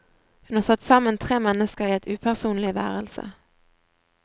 Hun har satt sammen tre mennesker i et upersonlig værelse.